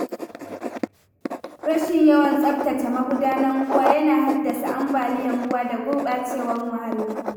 Rashin yawan tsabtace magudanan ruwa yana haddasa ambaliyar ruwa da gurɓacewar muhalli.